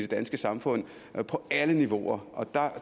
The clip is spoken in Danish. danske samfund på alle niveauer